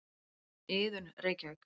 Iðunn, Reykjavík.